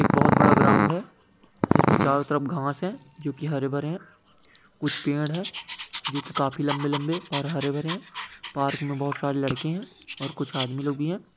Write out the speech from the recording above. एक बहुत बड़ा ग्राउंड है। जिसमें चारों तरफ घासे है जो की हरे भरे हैं। कुछ पेड़ है। जो की काफी लंबे-लंबे और हरे भरे है। पार्क में बहुत सारे लड़के हैं। और कुछ आदमी लोग भी हैं।